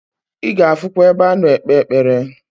I ga afukwa ebe ano ekpe ekpere.